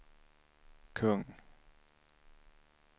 kung